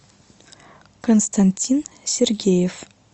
константин сергеев